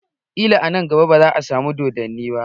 Kila a nan gaba baza a samu doddani ba